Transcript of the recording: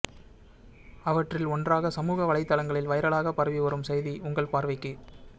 அவற்றில் ஒன்றாக சமூக வலைதளங்களில் வைரலாக பரவி வரும் செய்தி உங்கள் பார்வைக்கு